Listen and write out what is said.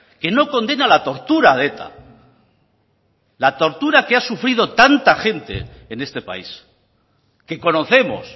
que no condena la tortura de eta la tortura que ha sufrido tanta gente en este país que conocemos